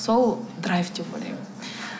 сол драйв деп ойлаймын